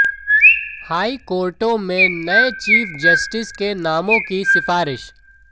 हाईकोर्टों में नये chief justice के नामों की सिफारिश